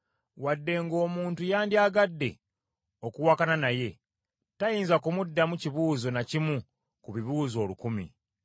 Wadde ng’omuntu yandyagadde okuwakana naye, tayinza kumuddamu kibuuzo na kimu ku bibuuzo olukumi.